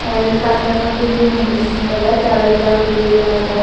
ಅಲ್ಲಿ ಕತ್ಲಗ್ ಬಂದಿದ್ದು ನಿಂದ್ರಿಸಿಂದ ಅದ ತೆಳಗೆಲ್ಲ ಹುಲ್ಲ ಎಲ್ಲಾ ಅದ.